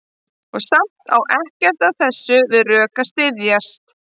Og samt á ekkert af þessu við rök að styðjast.